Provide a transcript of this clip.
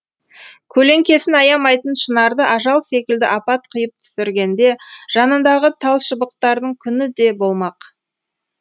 көлеңкесін аямайтын шынарды ажал секілді апат қиып түсіргенде жанындағы талшыбықтардың күні де болмақ